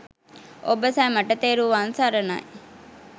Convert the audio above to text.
ඔබ සැමට තෙරුවන් සරණයි